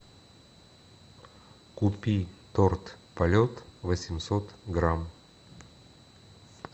купи торт полет восемьсот грамм